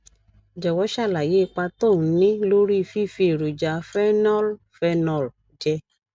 jòwó ṣàlàyé ipa tó ń ní lórí fífi èròjà phenol phenol jẹ